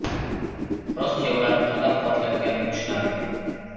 Rossiya ularni qo‘llab-quvvatlayotgani tushunarli.